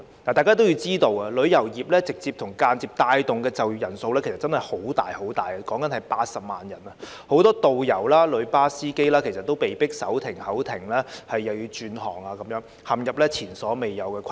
大家皆知道，旅遊業直接及間接帶動的就業人數相當龐大，約80萬人，很多導遊及旅遊巴司機被迫手停口停或需轉行，陷入前所未有的困境。